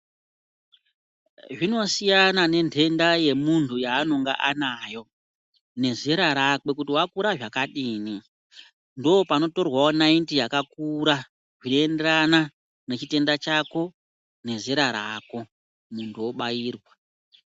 Zvinosiyana nendhenda yemunhu yanonga anayo, nezera rake kuti wakura zvakadini. Ndopanotorwa yakakura kuyenderana nechitenda chako nezera rako muntu wobairwa.